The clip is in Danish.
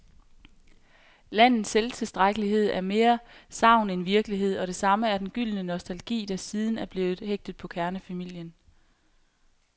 Landets selvtilstrækkelighed er mere sagn end virkelighed, og det samme er den gyldne nostalgi, der siden er blevet hægtet på kernefamilien.